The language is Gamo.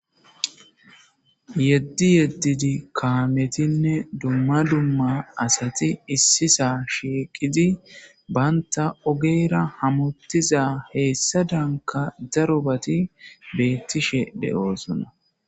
Yedi yedidi kametinne dumma dumma asati issi sa shiqidi banta ogera hamutizi heyisadanka darobati betishe dosona.